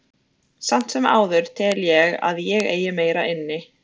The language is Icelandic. Samt sem áður tel ég að ég eigi meira inni.